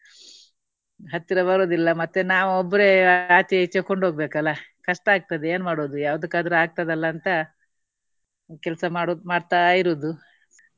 ಹತ್ತಿರ ಬರುವುದಿಲ್ಲ ಮತ್ತೆ ನಾವು ಒಬ್ರೇ ಆಚೆ ಈಚೆ ಕೊಂಡು ಹೋಗಬೇಕಲ್ಲ ಕಷ್ಟ ಆಗ್ತದೆ ಏನು ಮಾಡುವುದು ಯಾವುದಕ್ಕಾದ್ರು ಆಗ್ತದಲ್ಲ ಅಂತ ಕೆಲಸ ಮಾಡುದು ಮಾಡ್ತಾ ಇರುವುದು.